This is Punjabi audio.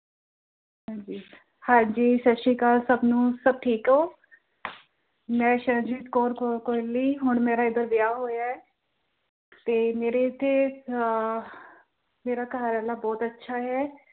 ਹਾਂ ਜੀ, ਹਾਂ ਜੀ ਸਤਿ ਸ਼੍ਰੀ ਅਕਾਲ ਸਭ ਨੂੰ, ਸਭ ਠੀਕ ਹੋ ਮੈਂ ਸ਼ਰਨਜੀਤ ਕੌਰ ਹੁਣ ਮੇਰਾ ਏਧਰ ਵਿਆਹ ਹੋਇਆ, ਤੇ ਮੇਰੇ ਇੱਥੇ ਅਹ ਮੇਰੇ ਘਰਵਾਲਾ ਬਹੁਤ ਅੱਛਾ ਏਂ।